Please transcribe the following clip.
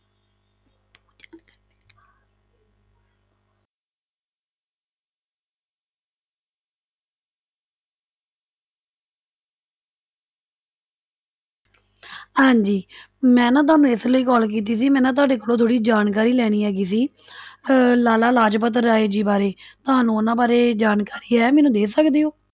ਹਾਂਜੀ ਮੈਂ ਨਾ ਤੁਹਾਨੂੰ ਇਸ ਲਈ call ਕੀਤੀ ਸੀ ਮੈਂ ਨਾ ਤੁਹਾਡੇ ਕੋਲੋਂ ਥੋੜ੍ਹੀ ਜਾਣਕਾਰੀ ਲੈਣੀ ਹੈਗੀ ਸੀ ਅਹ ਲਾਲਾ ਲਾਜਪਤ ਰਾਏ ਜੀ ਬਾਰੇ, ਤੁਹਾਨੂੰ ਉਹਨਾਂ ਬਾਰੇ ਜਾਣਕਾਰੀ ਹੈ, ਮੈਨੂੰ ਦੇ ਸਕਦੇ ਹੋ?